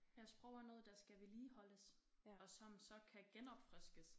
Ja sprog er noget der skal vedligeholdes og som så kan genopfriskes